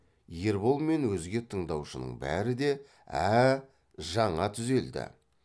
ербол мен өзге тыңдаушының бәрі де ә ә жаңа түзелді